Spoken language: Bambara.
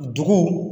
Dugu